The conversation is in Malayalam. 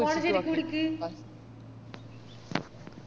phone ശെരിക്ക് പിടിക്ക്